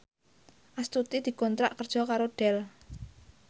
Astuti dikontrak kerja karo Dell